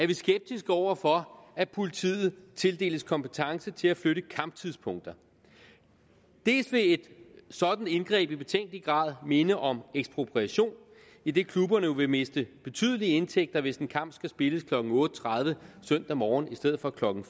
vi skeptiske over for at politiet tildeles kompetence til at flytte kamptidspunkter dels vil et sådan indgreb i betænkelig grad minde om ekspropriation idet klubberne vil miste betydelige indtægter hvis en kamp spilles klokken otte tredive søndag morgen i stedet for klokken